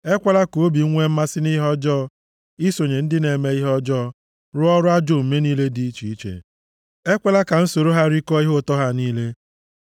Ekwela ka obi m nwee mmasị nʼihe ọjọọ, isonye ndị na-eme ihe ọjọọ rụọ ọrụ ajọ omume niile dị iche iche; ekwela ka m soro ha rikọọ ihe ụtọ ha niile. + 141:4 \+xt Ilu 23:6\+xt*